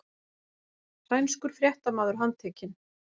Sænskur fréttamaður handtekinn